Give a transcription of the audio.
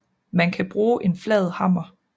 Man kan bruge en flad hammer